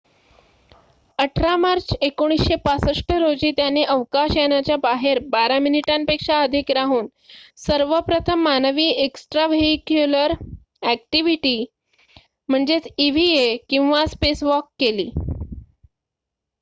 "18 March 1965 रोजी त्याने अवकाश यानाच्या बाहेर बारा मिनिटांपेक्षा अधिक राहून सर्वप्रथम मानवी एक्स्ट्राव्हेईक्युलर अॅक्टिविटी इव्हीए किंवा "स्पेसवॉक" केली.